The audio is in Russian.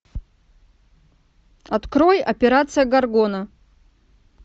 открой операция горгона